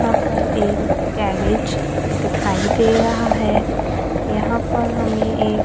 यहां पर ये गैरेज दिखाई दे रहा है यहां पर हमें ये--